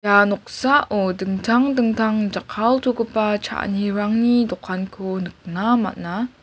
ah noksao dingtang dingtang jakkaltogipa cha·anirangni dokanko nikna man·a.